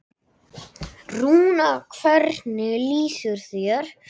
Rúnar, hvernig líður þér?